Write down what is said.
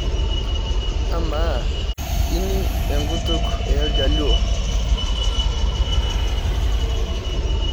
Amaa ining enkutuk oljaluo?